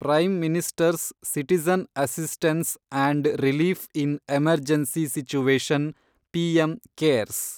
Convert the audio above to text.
prime minister's citizen assistance and relief in emergency situation , PM CARES